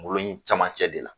N kunkolo in cɛmancɛ de la